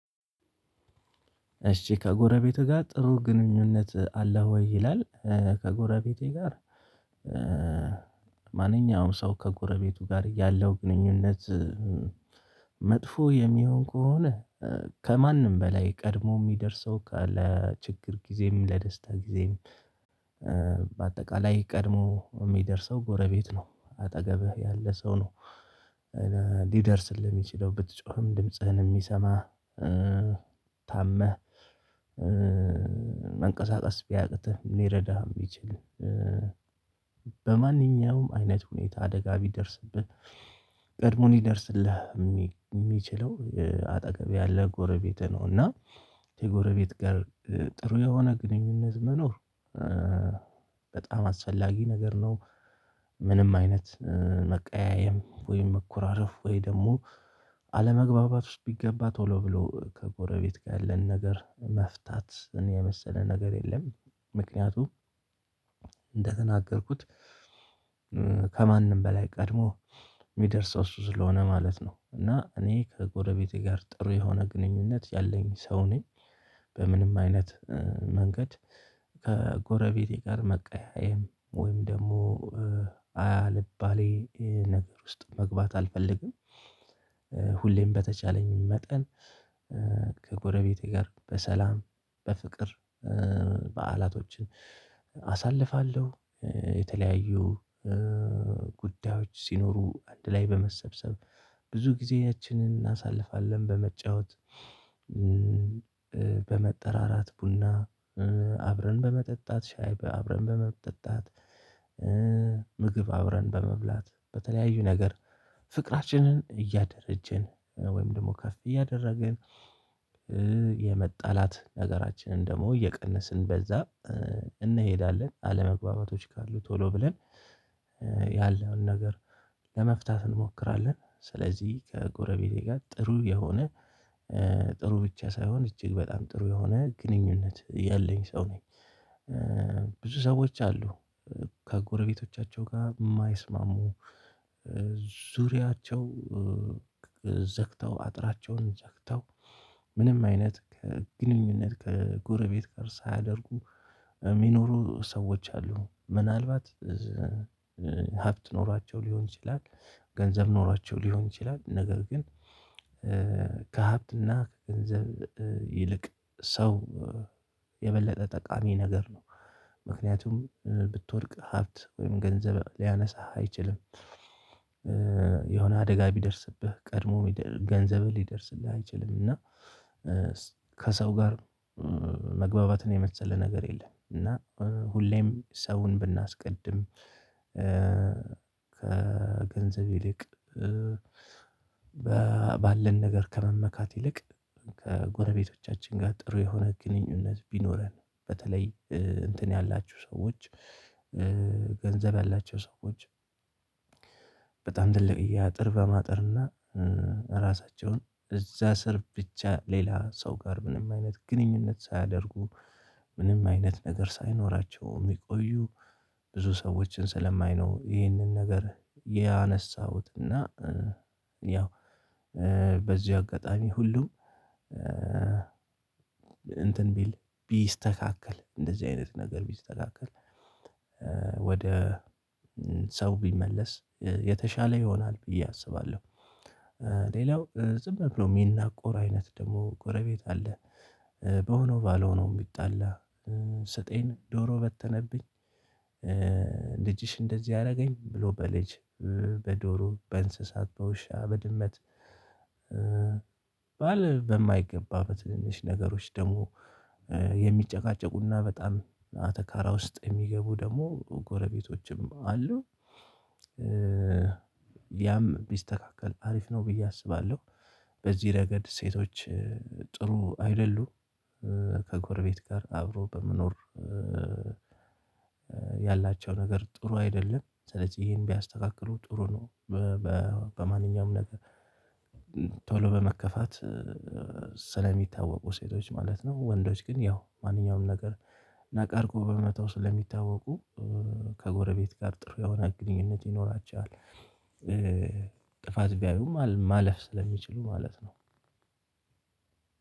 እሺ ከጎረቤትህ ጋር ጥሩ ግንኙነት አለህ ወይ ይላል? ከጎረቤቴ ጋር እ እ ማንኛውም ሰው ከጎረቤቱ ጋር ያለው ግንኙነት መጥፎ የሚሆን ከሆነ ከማንም በላይ ቀድሞ የሚደርሰው ካለ ችግር ጊዜም ለደስታ ጊዜም። በአጠቃላይ ቀድሞ የሚደርሰው ጎረቤት ነው አጠገብህ ያለ ሰው ነው ሊደርስልህ የሚችለው ብትጮህም ድምጽህን የሚሰማ። ታመህ መንቀሳቀስ ቢያቅትህ ሊረዳህ የሚችል። በማንኛውም አይነት ሁኔታ አደጋ ቢደርስብህ ቀድሞ ሊደርስልህ የሚችለው አጠገብህ ያለ ጎረቤትህ ነው። እና የጎረቤት ጋር ጥሩ የሆነ ግንኙነት መኖር በጣም አስፈላጊ ነገር ነው። ምንም አይነት መቀያየም ወይም መኮራረፍ ወይ ደግሞ አለመግባባት ውስጥ ቢገባ ቶሎ ብሎ ከጎረቤት ጋር ያለን ነገር መፍታት የመሰለ ነገር የለም። ምክንያቱም እንደተናገርኩት ከማንም በላይ ቀድሞ የሚደርሰው እሱ ስለሆነ ማለት ነው። እና እኔ ከጎረቤቴ ጋር ጥሩ የሆነ ግንኙነት ያለኝ ሰው ነኝ። በምንም አይነት መንገድ ከጎረቤቴ ጋር መቀያየም ወይም ደግሞ አልባሌ ነገር ውስጥ መግባት አልፈልግም። ሁሌም በተቻለኝ መጠን ከጎረቤቴ ጋር በሰላም በፍቅር በዓላቶችን አሳልፋለሁ የተለያዩ ጉዳዮች ሲኖሩ አንድ ላይ በመሰብሰብ ብዙ ጊዜያችንን እናሳልፋለን በመጫወት። በመጠራራት ቡና አብረን በመጠጣት ሻይ አብረን በመጠጣት። ምግብ አብረን በመብላት በተለያዩ ነገር ፍቅራችንን እያደረጀን ወይም ደግሞ ከፍ እያደረግን የመጣላት ነገራችንን ደግሞ እየቀነስን በዛ እንሄዳለን። አለመግባባቶች ካሉ ቶሎ ብለን ያለዉን ነገር ለመፍታት እንሞክራለን። ስለዚህ ከጎረቤቴ ጋር ጥሩ የሆነ ጥሩ ብቻ ሳይሆን እጅግ በጣም ጥሩ የሆነ ግንኙነት ያለኝ ሰው ነኝ። ብዙ ሰዎች አሉ ከጎረቤቶቻቸው ጋር የማይስማሙ ዙሪያቸው ዘግተው አጥራቸውን ዘግተው ምንም አይነት ግንኙነት ከጎረቤት ጋር ሳያደርጉ የሚኖሩ ሰዎች አሉ። ምናልባት ሀብት ኖሯቸው ሊሆን ይችላል። ገንዘብ ኖሯቸው ሊሆን ይችላል ነገር ግን ከሀብትና ከገንዘብ ይልቅ ሰው የበለጠ ጠቃሚ ነገር ነው። ምክንያቱም ብትወድቅ ሀብት ወይም ገንዘብ ሊያነሳ አይችልም። አደጋ ቢደርስብህ ቀድሞ ገንዘብህ ሊደርስልህ አይችልም እና ከሰው ጋር መግባባትን የመሰለ ነገር የለም። እና ሁሌም ሰውን ብናስቀድም ከገንዘብ ይልቅ ባለን ነገር ከመመካት ይልቅ ከጎረቤቶቻችን ጋር ጥሩ የሆነ ግንኙነት ቢኖረን። በተለይ እንትን ያላችሁ ሰዎች ገንዘብ ያላቸው ሰዎች በጣም ትልቅየ አጥር በማጥርና እራሳቸውን እዛ ስር ብቻ ሌላ ሰው ጋር ምንም አይነት ግንኙነት ሳያደርጉ ምንም አይነት ነገር ሳይኖራቸው የሚቆዩ ብዙ ሰዎችን ስለማይ ነው። ይህንን ነገር ያነሳሁት እና ያው በዚህ አጋጣሚ ሁሉም እንትን ቢል ቢስተካከል እንደዚህ አይነት ነገር ቢስተካከል ወደ ሰው ቢመለስ የተሻለ ይሆናል ብዬ አስባለሁ። ሌላው ዝም ብሎ የሚናቆር አይነት ደግሞ ጎረቤት አለ። በሆነው ባልሆነው የሚጣላ ስጤን ዶሮ በተነብኝ ልጅሽ እንደዚህ አደረገኝ ብሎ በልጅ በዶሮ በእንስሳት በውሻ በድመት ባል በማይገባ በትንንሽ ነገሮች ደግሞ የሚጨቃጨቁና በጣም አተካራ ውስጥ የሚገቡ ደግሞ ጎረቤቶችም አሉ። ያም ቢስተካከል አሪፍ ነው ብዬ አስባለሁ። በዚህ ረገድ ሴቶች ጥሩ አይደሉም ከጎርቤት ጋር አብሮ በመኖር ያላቸው ነገር ጥሩ አይደለም ስለዚህ እሄን ቢያስተካክሉ ጥሩ ነው። በማንኛውም ነገር ቶሎ በመከፋት ስለሚታወቁ ሴቶች ማለት ነው ወንዶች ግን ያው ማንኛውም ነገር ናቅ አርገው በመተው ስለሚታወቁ ከጎረቤት ጋር ጥሩ የሆነ ግንኙነት ይኖራቸዋል። ጥፋት ቢያዩም ማለፍ ስለሚችሉ ማለት ነው።